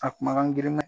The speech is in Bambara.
A kumakan giriman